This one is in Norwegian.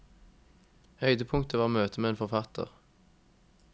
Høydepunktet var møtet med en forfatter.